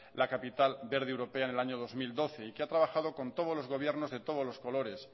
la capital verde europea en el año dos mil doce y que ha trabajado con todos los gobiernos de todos los colores